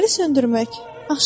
Fənəri söndürmək.